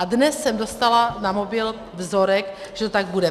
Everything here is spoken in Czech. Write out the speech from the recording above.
A dnes jsem dostala na mobil vzorek, že to tak bude.